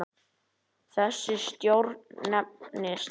Þessi stjórn nefnist